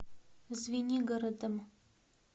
звенигородом